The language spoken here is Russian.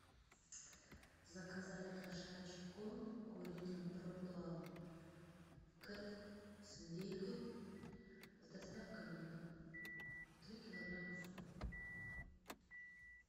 заказать кошачий корм пурина про план кэт с индейкой с доставкой на дом три килограмма